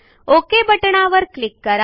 okay बटणावर click करा